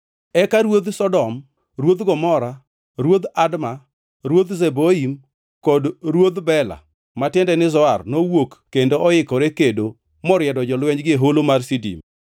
Eka ruodh Sodom, ruodh Gomora, ruodh Adma, ruodh Zeboim kod ruodh Bela (ma tiende ni Zoar) nowuok kendo oikore kedo moriedo jolwenjgi e Holo mar Sidim,